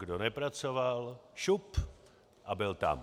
Kdo nepracoval, šup a byl tam."